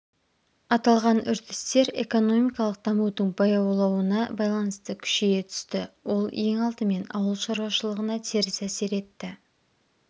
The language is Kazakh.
аталған үрдістер экономикалық дамудың баяулауына байланысты күшейе түсті ол ең алдымен ауыл шаруашылығына теріс әсер етті